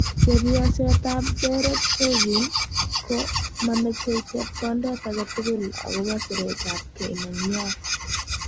Chepyoset ap Derek Chauvin ko mameche chepkondet akei tugul akopo siret ap kei nenywa.